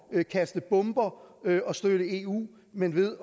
at kaste bomber og støtte eu men ved at